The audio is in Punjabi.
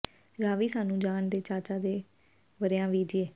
ਰਾਵੀ ਸਾਨੂੰ ਜਾਣ ਦੇ ਚਾਚਾ ਸੇ ਵਰ੍ਹਿਆਂ ਵੇ ਜੀ